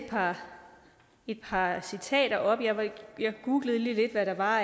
et par citater op jeg googlede lige lidt hvad der var